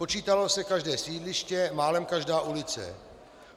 Počítalo se každé sídliště, málem každá ulice.